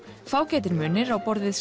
fágætir munir á borð við